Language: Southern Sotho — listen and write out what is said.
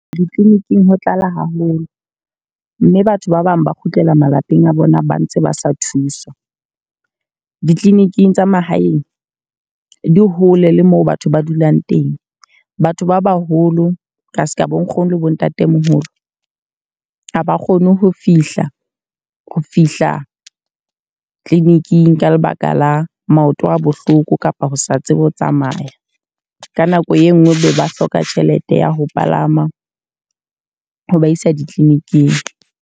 Di-clinic-ing ho tlala haholo. Mme batho ba bang ba kgutlela malapeng a bona ba ntse ba sa thuswa. Di-clinic-ing tsa mahaeng di hole le moo batho ba dulang teng. Batho ba baholo ka seka bo nkgono le bo ntatemoholo. Ha ba kgone ho fihla ho fihla clinic-ing ka lebaka la maoto a bohloko kapa ho sa tsebe ho tsamaya. Ka nako e nngwe be ba hloka tjhelete ya ho palama ho ba isa di-clinic-ing.